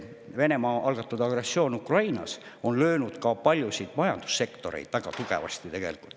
Venemaa algatatud agressioon Ukrainas on löönud paljusid majandussektoreid väga tugevasti.